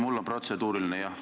Mul on protseduuriline, jah.